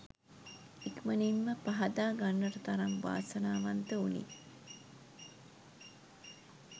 ඉක්මනින්ම පහදා ගන්නට තරම් වාසනාවන්ත වුනි.